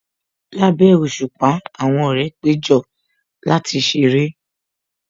Lábẹ́ òṣùpá, àwọn ọ̀rẹ́ péjọ láti ṣeré